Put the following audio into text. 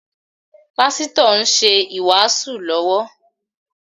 Pásítọ̀ ń ṣe ìwàásù lọ́wọ́